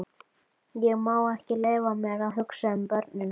Ég má ekki leyfa mér að hugsa um börnin okkar.